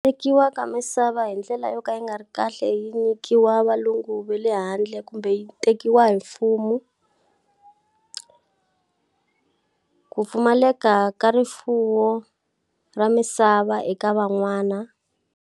Tekiwa ka misava hi ndlela yo ka yi nga ri kahle yi nyikiwa valungu va le handle kumbe yi tekiwa hi mfumo, ku pfumaleka ka rifuwo ra misava eka van'wana.